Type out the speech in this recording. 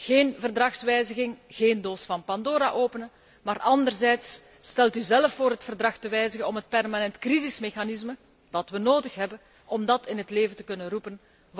Geen Verdragswijziging, geen doos van Pandora openen, maar anderzijds stelt u zelf voor het Verdrag te wijzigen om het permanent crisismechanisme wat we nodig hebben in het leven te kunnen roepen.